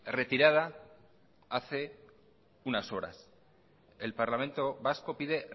retirada hace unas horas el parlamento vasco pide